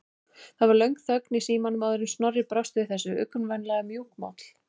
Það varð löng þögn í símanum áður en Snorri brást við þessu, uggvænlega mjúkmáll.